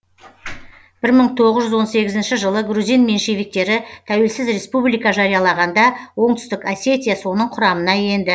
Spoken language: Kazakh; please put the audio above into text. бір мың тоғыз жүз он сегізінші жылы грузин меньшевиктері тәуелсіз республика жариялағанда оңтүстік осетия соның құрамына енді